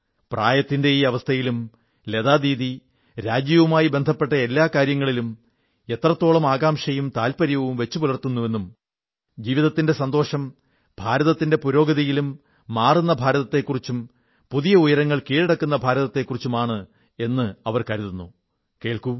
പ്രായത്തിന്റെ ഈ അവസ്ഥയിലും ലതാദീദി രാജ്യവുമായി ബന്ധപ്പെട്ട എല്ലാ കാര്യങ്ങളിലും എത്രത്തോളം ആകാംക്ഷയും താത്പര്യവും വച്ചു പുലർത്തുന്നുവെന്നും ജീവിതത്തിലെ സന്തോഷവും ഭാരതത്തിന്റെ പുരോഗതിയിലും മാറുന്ന ഭാരതത്തെക്കുറിച്ചും പുതിയ ഉയരങ്ങൾ കീഴടക്കുന്ന ഭാരതത്തിലാണെന്നു കരുതുന്നതും കേൾക്കൂ